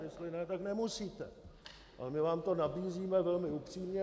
Jestli ne, tak nemusíte, ale my vám to nabízíme velmi upřímně.